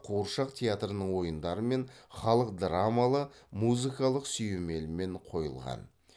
қуыршақ театрының ойындары мен халық драмалы музыкалық сүйемелмен қойылған